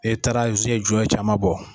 E taara jɔ ye caman bɔ.